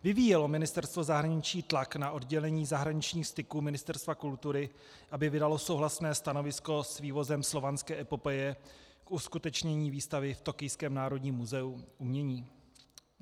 Vyvíjelo Ministerstvo zahraniční tlak na oddělení zahraničních styků Ministerstva kultury, aby vydalo souhlasné stanovisko s vývozem Slovanské epopeje k uskutečnění výstavy v tokijském národním muzeu umění?